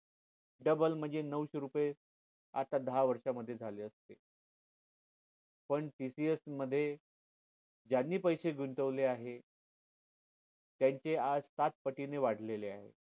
double म्हणजे नवशे रुपये आता दहा वर्ष मध्ये झाले असते पण TCS मध्ये ज्यांनी पैसे गुंतवले आहेत त्यांचे आज सात पटीने वाढलेले आहेत